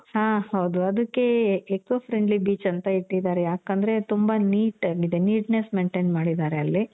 ಹಾ ಹೌದು ಅದುಕ್ಕೆ eco friendly beach ಅಂತ ಇಟ್ಟಿದಾರೆ. ಯಾಕಂದ್ರೆ ತುಂಬ neat ಆಗಿದೆ. neatness maintain ಮಾಡಿದಾರೆ ಅಲ್ಲಿ.